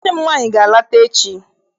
Nwanne m nwaanyị ga-alata echi.